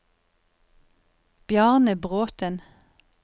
Bjarne Bråthen